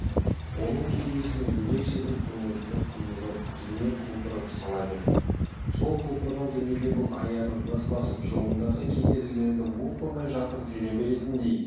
оның кеудесіне ерекше бір көңілділік құйылып дүние құлпырып сала берді сол құлпырған дүниеде бұл аяғын нық басып жолындағы кедергілерді оп-оңай жапырып жүре беретіндей